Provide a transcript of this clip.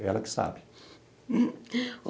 É ela que sabe.